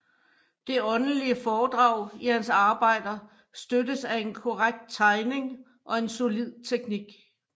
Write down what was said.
Det åndelige foredrag i hans arbejder støttes af en korrekt tegning og en solid teknik